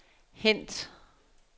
hent